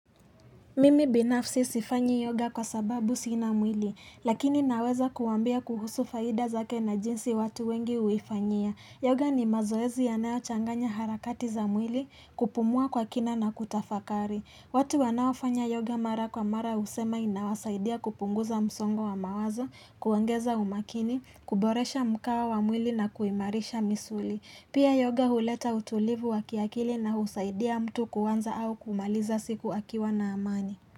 Mimi binafsi sifanyi yoga kwa sababu sina mwili, lakini naweza kuwaambia kuhusu faida zake na jinsi watu wengi uifanyia. Yoga ni mazoezi yanayochanganya harakati za mwili kupumua kwa kina na kutafakari. Watu wanaofanya yoga mara kwa mara husema inawasaidia kupunguza msongo wa mawazo, kuongeza umakini, kuboresha mkao wa mwili na kuimarisha misuli. Pia yoga huleta utulivu wa kiakili na husaidia mtu kuanza au kumaliza siku akiwa na amani.